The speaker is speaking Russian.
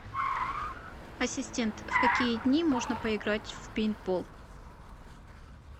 ассистент в какие дни можно поиграть в пейнтбол